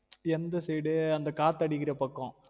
எந்த side உ அந்த காத்து அடிக்குற பக்கம்